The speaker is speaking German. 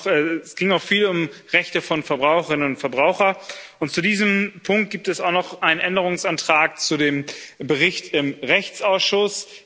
Es ging auch viel um Rechte von Verbraucherinnen und Verbrauchern, und zu diesem Punkt gibt es auch noch einen Änderungsantrag zu dem Bericht im Rechtsausschuss.